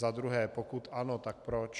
Za druhé: Pokud ano, tak proč?